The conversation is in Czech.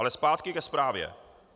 Ale zpátky ke zprávě.